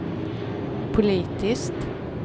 politiskt